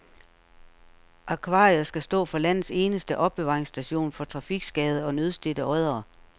Akvariet skal stå for landets eneste opbevaringsstation for trafikskadede og nødstedte oddere.